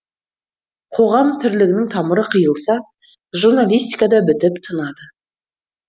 қоғам тірлігінің тамыры қиылса журналистика да бітіп тынады